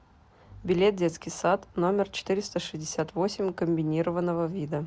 билет детский сад номер четыреста шестьдесят восемь комбинированного вида